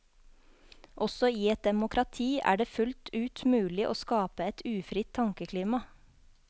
Også i et demokrati er det fullt ut mulig å skape et ufritt tankeklima.